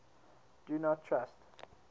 do not trust